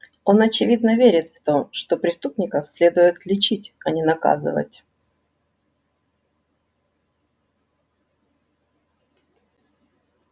он очевидно верит в то что преступников следует лечить а не наказывать